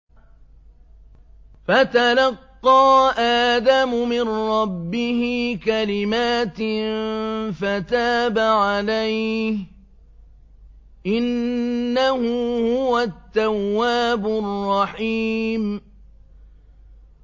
فَتَلَقَّىٰ آدَمُ مِن رَّبِّهِ كَلِمَاتٍ فَتَابَ عَلَيْهِ ۚ إِنَّهُ هُوَ التَّوَّابُ الرَّحِيمُ